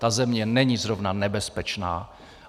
Ta země není zrovna nebezpečná.